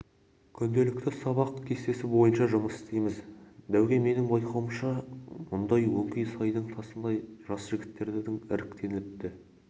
күнделікті сабақ кестесі бойынша жұмыс істейміз дәуке менің байқауымша мұнда өңкей сайдың тасындай жас жігіттер іріктелініпті